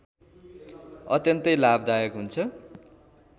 अत्यन्तै लाभदायक हुन्छ